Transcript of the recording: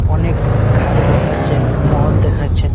অনেক ঘার দেখাচ্ছে মহল দেখাচ্ছে ।